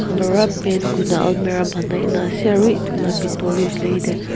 alura paint kurina almera banai na ase aru etula bithor tae .